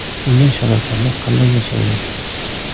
Bunday sharoitlarda qanday yashaydi ?